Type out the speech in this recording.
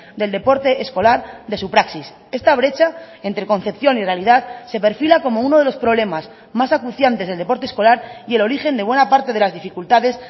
del deporte escolar de su praxis esta brecha entre concepción y realidad se perfila como uno de los problemas más acuciantes del deporte escolar y el origen de buena parte de las dificultades